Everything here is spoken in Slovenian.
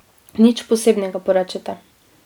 Nič posebnega, porečete.